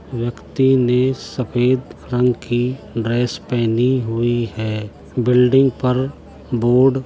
व्यक्ति ने सफेद रंग की ड्रेस पहनी हुई है| बिल्डिंग पर बोर्ड --